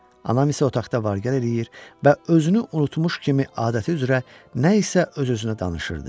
Anam isə otaqda var-gəl eləyir və özünü unutmuş kimi adəti üzrə nə isə öz-özünə danışırdı.